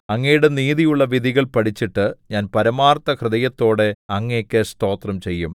അങ്ങയുടെ നീതിയുള്ള വിധികൾ പഠിച്ചിട്ട് ഞാൻ പരമാർത്ഥ ഹൃദയത്തോടെ അങ്ങേക്കു സ്തോത്രം ചെയ്യും